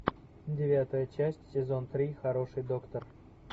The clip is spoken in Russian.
девятая часть сезон три хороший доктор